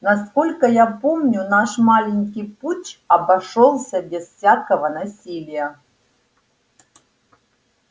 насколько я помню наш маленький путч обошёлся без всякого насилия